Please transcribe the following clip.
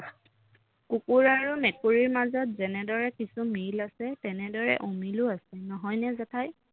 কুকুৰ আৰু মেকুৰীৰ মাজত যেনেদৰে কিছু মিল আছে তেনেদৰে অমিলো আছে নহয়নে জেঠাই